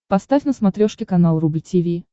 поставь на смотрешке канал рубль ти ви